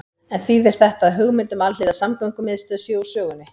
En þýðir þetta að hugmynd um alhliða samgöngumiðstöð sé úr sögunni?